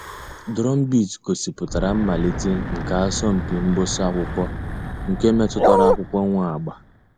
Drumbeat gọ̀sìpùtárà mmàlítè nke àsọ̀mpị mgbụsị̀ ákụ̀kwò nke mètụtara àkụ̀kwò nwee àgbà.